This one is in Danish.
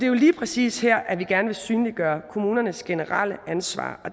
jo lige præcis her vi gerne vil synliggøre kommunernes generelle ansvar